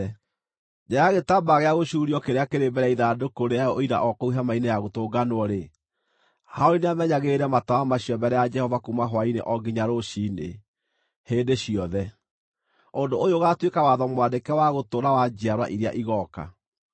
Nja ya gĩtambaya gĩa gũcuurio kĩrĩa kĩrĩ mbere ya ithandũkũ rĩa Ũira o kũu Hema-inĩ-ya-Gũtũnganwo-rĩ, Harũni nĩamenyagĩrĩre matawa macio mbere ya Jehova kuuma hwaĩ-inĩ o nginya rũciinĩ, hĩndĩ ciothe. Ũndũ ũyũ ũgaatuĩka watho mwandĩke wa gũtũũra wa njiarwa iria igooka.